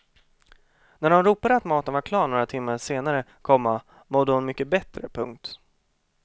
När de ropade att maten var klar några timmar senare, komma mådde hon mycket bättre. punkt